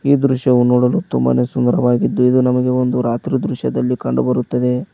ಈ ದೃಶ್ಯವು ನೋಡಲು ತುಂಬಾನೇ ಸುಂದರವಾಗಿದ್ದು ಇದು ನಮಗೆ ಒಂದು ರಾತ್ರಿ ದೃಶ್ಯ ದಲ್ಲಿ ಕಂಡು ಬರುತ್ತದೆ.